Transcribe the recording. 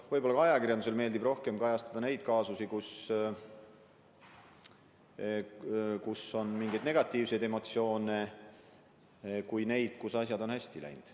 Võib-olla ajakirjandusele meeldib rohkem kajastada neid kaasusi, kus on mängus mingeid negatiivseid emotsioone, kui neid, kus asjad on hästi läinud.